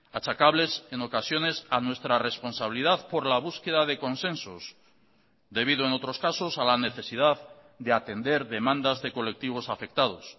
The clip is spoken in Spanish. achacables en ocasiones a nuestra responsabilidad por la búsqueda de consensos debido en otros casos a la necesidad de atender demandas de colectivos afectados